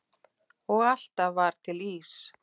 Og alltaf var til ís.